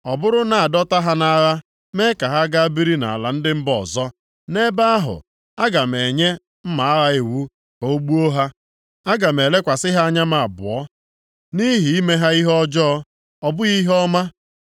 Ọ bụrụ na a dọta ha nʼagha mee ka ha gaa biri nʼala ndị mba ọzọ, nʼebe ahụ aga m enye mma agha iwu ka o gbuo ha. “Aga m elekwasị ha anya m abụọ nʼihi ime ha ihe ọjọọ, ọ bụghị ihe ọma.”